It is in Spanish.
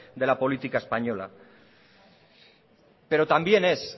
de la política española pero también es